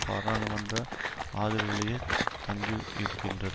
பாராளுமன்ற ஆதரவிலேயே தங்கியிருக்கின்றது